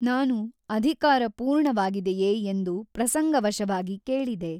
ನಾನು ಅಧಿಕಾರ ಪೂರ್ಣವಾಗಿದೆಯೇ ಎಂದು ಪ್ರಸಂಗವಶವಾಗಿ ಕೇಳಿದೆ.